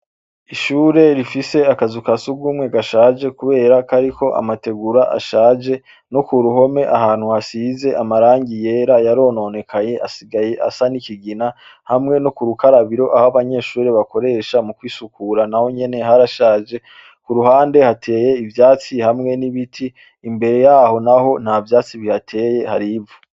Ishure rifise akazuka sugumwe gashaje, kubera kariko amategura ashaje no ku ruhome ahantu hasize amarangi yera yarononekaye asigaye asa n'ikigina hamwe no ku rukarabiro aho abanyeshuri bakoresha mu kwisukura na wo nyene hariashaje ku ruhande hateye ivyatsi hamwe n'ibiti imbere yaho, naho nta vyasi bihateye harivu.